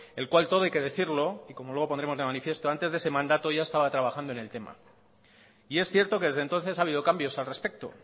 el cual todo hay que decirlo y como luego pondremos de manifiesto antes de ese mandato ya estaba trabajando en el tema y es cierto que desde entonces ha habido cambios al respecto